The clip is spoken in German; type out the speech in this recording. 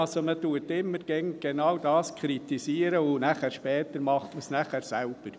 Man kritisiert immer genau das, und später macht man es selber.